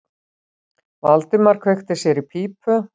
Valdimar kveikti sér í pípu.